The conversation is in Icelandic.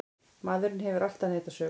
Maðurinn hefur alltaf neitað sök.